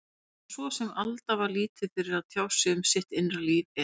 En svo sem Alda var lítið fyrir að tjá sig um sitt innra líf, er